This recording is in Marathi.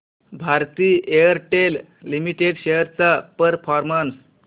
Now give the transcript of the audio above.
भारती एअरटेल लिमिटेड शेअर्स चा परफॉर्मन्स